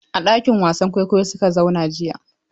A ɗakin wasan kwaikwayo su ka zauna jiya.